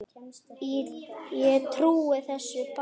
Ég trúi þessu bara.